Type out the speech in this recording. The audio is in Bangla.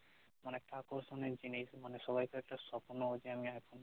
অনেকটা আকর্ষণের জিনিস মানে সবাকেই একটা সপ্ন যে আমি আইফোন কিনব